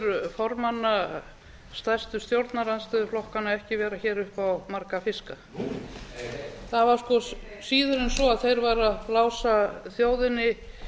formanna stærstu stjórnarandstöðuflokkanna ekki vera hér upp á marga fiska nú heyr heyr það var sko síður en svo að þeir væru að blása þjóðinni